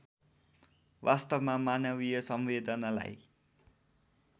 वास्तवमा मानवीय संवेदनालाई